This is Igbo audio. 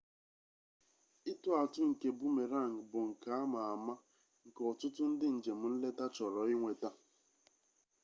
ịtụ atụ nke boomerang bụ nka ama ama nke ọtụtụ ndị njem nleta chọrọ inweta